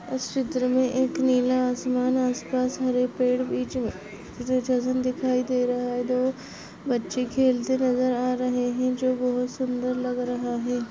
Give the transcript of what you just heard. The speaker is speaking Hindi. उस चित्र मे एक नीले आसमान आसपास हरे पेड़ और बीच मे दिखाई दे रहा है दो बच्चे खेलते नजर आ रहे हैंजो बहोत सुंदर लग रहा है।